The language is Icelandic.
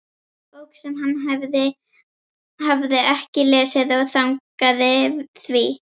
Bók sem hann hafði ekki lesið og þagnaði því.